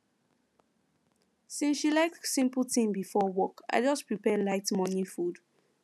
since she like simple thing before work i just prepare light morning food